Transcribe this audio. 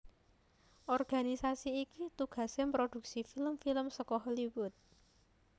Organisasi iki tugasé mproduksi film film saka Hollywood